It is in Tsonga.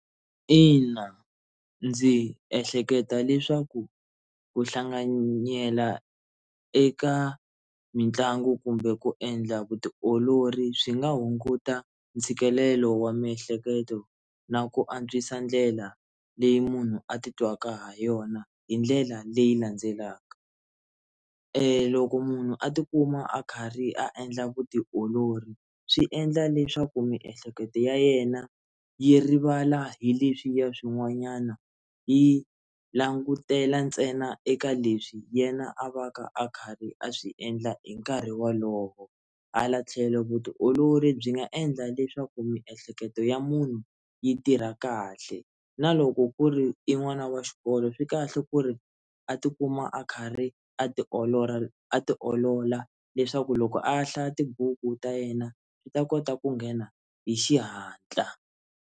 Ina, ndzi ehleketa leswaku ku hlanganyela eka mitlangu kumbe ku endla vutiolori swi nga hunguta ntshikelelo wa miehleketo na ku antswisa ndlela leyi munhu atitwaka ha yona hi ndlela leyi landzelaka, loko munhu a tikuma a karhi a endla vutiolori swi endla leswaku miehleketo ya yena yi rivala hi leswiya swin'wanyana yi langutela ntsena eka leswi yena a va ka a kha ri a swi endla hi nkarhi wolowo hala tlhelo vutiolori byi nga endla leswaku miehleketo ya munhu yi tirha kahle na loko ku ri i n'wana wa xikolo swi kahle ku ri a tikuma a kha ri a tiolora a tiolola leswaku loko a hlaya tibuku ta yena swi ta kota ku nghena hi xihatla.